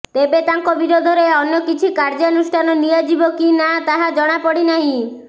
ତେବେ ତାଙ୍କ ବିରୋଧରେ ଅନ୍ୟ କିଛି କାର୍ଯ୍ୟାନୁଷ୍ଠାନ ନିଆଯିବ କି ନା ତାହା ଜଣାପଡ଼ିନାହିଁ